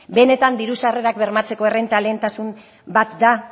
benetan diru sarrerak bermatzeko errenta lehentasun bat da